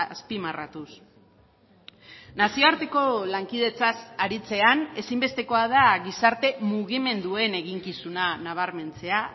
azpimarratuz nazioarteko lankidetzaz aritzean ezinbestekoa da gizarte mugimenduen eginkizuna nabarmentzea